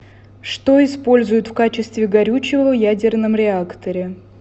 что используют в качестве горючего в ядерном реакторе